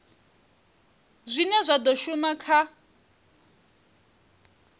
zwine zwa do shuma kha